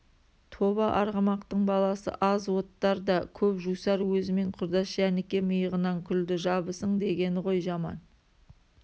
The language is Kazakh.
тоба арғымақтың баласы аз оттар да көп жусар өзімен құрдас жәніке миығынан күлді жабысың дегені ғой жаман